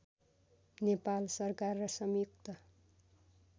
नेपाल सरकार र संयुक्त